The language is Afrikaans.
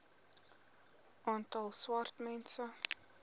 aantal swart mense